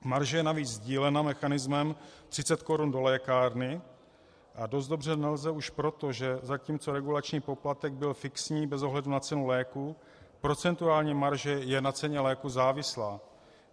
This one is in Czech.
Marže je navíc sdílena mechanismem 30 korun do lékárny a dost dobře nelze už proto, že zatímco regulační poplatek byl fixní bez ohledu na cenu léků, procentuální marže je na ceně léků závislá.